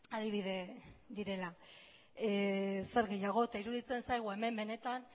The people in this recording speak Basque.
adibide direla eta zer gehiago eta iruditzen zaigu hemen benetan